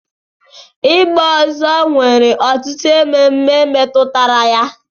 Ịgba ọzọ nwere ọtụtụ ememe metụtara ya.